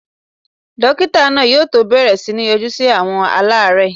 Dókítà náà yóò tó bẹ̀rẹ̀ sí ní yọjú sí àwọn aláàrẹ́ẹ̀.